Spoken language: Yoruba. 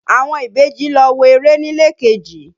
Àwọn ìbejì lọ wo eré nílé kejì.